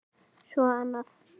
Svo annað.